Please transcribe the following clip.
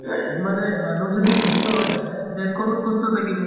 মানে মানুহ যদি সুস্থ হৈ আহে, দেশ খনো সুস্থ থাকিব ।